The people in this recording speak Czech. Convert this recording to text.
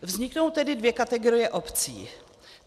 Vzniknou tedy dvě kategorie obcí.